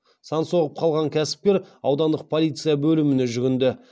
сан соғып қалған кәсіпкер аудандық полиция бөліміне жүгінді